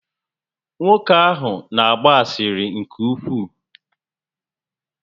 Nwoke ahụ n'agba asịrị nke ukwuu